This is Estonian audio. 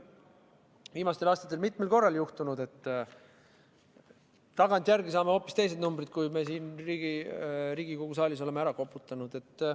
Viimastel aastatel on mitmel korral juhtunud, et tagantjärele saame hoopis teised numbrid, kui me siin Riigikogu saalis oleme ära koputanud.